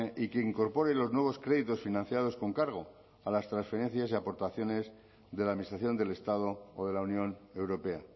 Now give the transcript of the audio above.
y que incorpore los nuevos créditos financiados con cargo a las transferencias y aportaciones de la administración del estado o de la unión europea